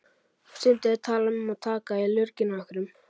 Stundum er talað um að taka í lurginn á einhverjum.